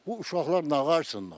Bu uşaqlar nağırsınlar?